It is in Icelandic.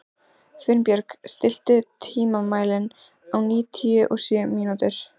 Finnbjörg, stilltu tímamælinn á níutíu og sjö mínútur.